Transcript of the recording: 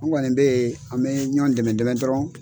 An kɔni bɛ ye an bɛ ɲɔn dɛmɛ dɛmɛ dɔrɔn.